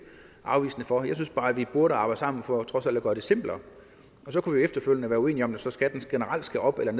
afvisende over for jeg synes bare at vi burde arbejde sammen for trods alt at gøre det simplere og så kunne vi efterfølgende være uenige om om skatten generelt skal op eller